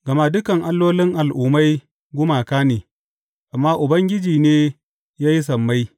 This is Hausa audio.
Gama dukan allolin al’ummai gumaka ne, amma Ubangiji ne ya yi sammai.